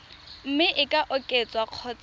mme e ka oketswa kgotsa